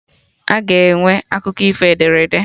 Aga enwe akụkọ ifo ederede